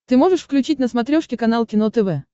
ты можешь включить на смотрешке канал кино тв